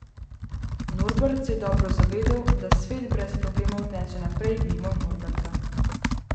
Norbert se je dobro zavedal, da svet brez problemov teče naprej mimo Norberta.